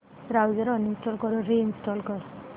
browser uninstall करून reinstall कर